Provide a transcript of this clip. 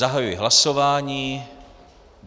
Zahajuji hlasování.